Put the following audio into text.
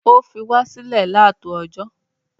O fi wa sílẹ látòójọ